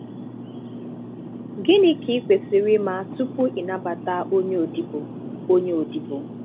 Gịnị um ka ị kwesiri ima tupu ị nabata onye odibo? onye odibo?